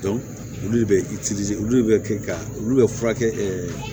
olu de bɛ olu de bɛ kɛ ka olu bɛ furakɛ